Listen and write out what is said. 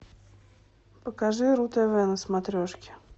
покажи ру тв на смотрешке